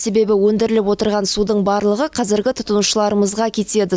себебі өндіріліп отырған судың барлығы қазіргі тұтынушыларымызға кетеді